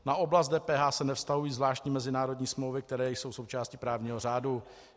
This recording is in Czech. Na oblast DPH se nevztahují zvláštní mezinárodní smlouvy, které jsou součástí právního řádu.